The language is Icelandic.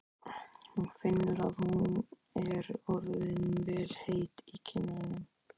Hún finnur að hún er orðin vel heit í kinnum.